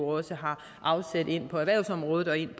også har afsæt ind på erhvervsområdet og ind